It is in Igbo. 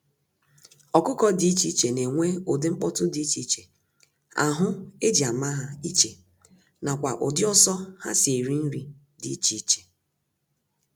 Ọkụkọ dị iche iche na enwe ụdị nkpọtu dị iche iche, ahụ eji ama ha iche, nakwa ụdị ọsọ ha si eri nri dị iche iche.